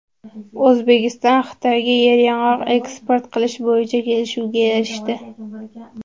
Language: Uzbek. O‘zbekiston Xitoyga yeryong‘oq eksport qilish bo‘yicha kelishuvga erishdi.